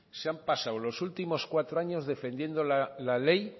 se han pasado los últimos cuatro años defendiendo la ley